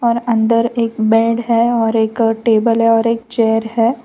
और अंदर एक बेड है और एक टेबल है और एक चेयर है।